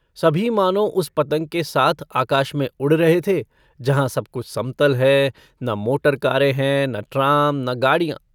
सभी मानों उस पतंग के साथ आकाश में उड़ रहे थे जहाँ सब कुछ समतल है न मोटर-कारें हैं न ट्राम न गाड़ियाँ।